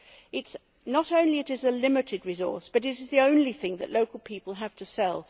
It is not only a limited resource, but it is the only thing that local people have to sell.